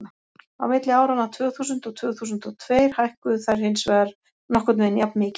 á milli áranna tvö þúsund og tvö þúsund og tveir hækkuðu þær hins vegar nokkurn veginn jafnmikið